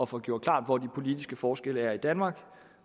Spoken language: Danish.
få gjort klart hvor de politiske forskelle er i danmark